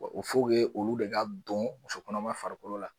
olu de ka don musokɔnɔma farikolo la.